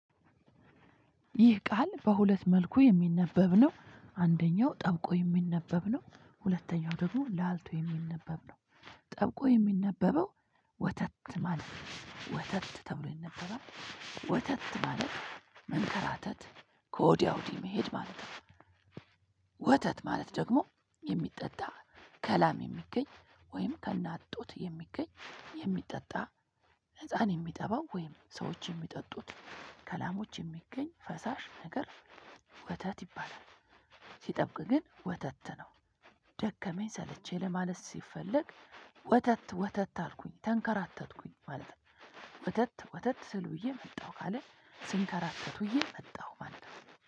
ይህ ቃል በሁለት መልኩ የሚነበብ ነው አንደኛው ጠብቆ የሚነበብ ነው። ሁለተኛው ደግሞ ላልቶ የሚነበብ ነው። ጠብቆ የሚነበበው ወተት ማለት ነው። ወተት ተብሎ ይነበራል። ወተት ማለት መንከራተት ከወዲያ ወዲህ መሄድ ማለት ነው። ወተት ማለት ደግሞ የሚጠጣ ከላም የሚገኝ ወይም ከእናት ጡት የሚገኝ የሚጠጣ ህፃን የሚጠባው ወይም ሰዎች የሚጠጡት ከላሞች የሚገኝ ፈሳሽ ነገር ወተት ይባላል። ሲጠብቅ ግን ወተት ነው። ደከመኝ ሰለቼ ለማለት ሲፈለግ ወተት ወተት አልኩኝ ተንከራተትኩኝ ማለት ነው። ወተት ወተት ስል ውየ መጣሁ ካልን ስንከራከት ውየ መጣሁ ማለት ነው